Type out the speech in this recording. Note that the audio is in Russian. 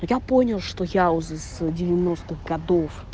я понял что я узнал из девяностых годов